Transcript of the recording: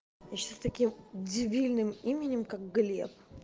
ещё сейчас таким дебильным именем как глеб